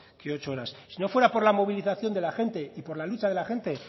que ocho horas si no fuera por la movilización de la gente y por la lucha de la gente